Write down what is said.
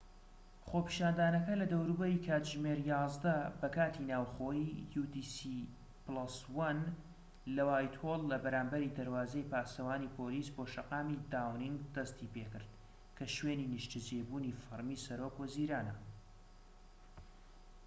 خۆپیشاندانەکە لە دەوروبەری کاتژمێر 11:00 بە کاتی ناوخۆیی‎ utc+1 ‎لە وایتهۆڵ لە بەرامبەرى دەروازەی پاسەوانی پۆلیس بۆ شەقامی داونینگ دەستیپێکرد، کە شوێنی نیشتەجێبوونی فەرمی سەرۆک وەزیرانە